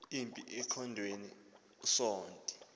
impi emkhondweni usonti